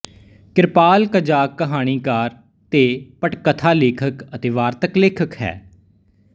ਕਿਰਪਾਲ ਕਜ਼ਾਕ ਕਹਾਣੀਕਾਰ ਤੇ ਪਟਕਥਾ ਲੇਖਕ ਅਤੇ ਵਾਰਤਕ ਲੇਖਕ ਹੈ